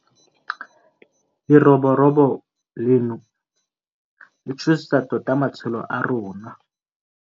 Leroborobo leno le tshosetsa tota matshelo a rona.